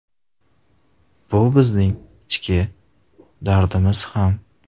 Bu bizning ichki dardimiz ham.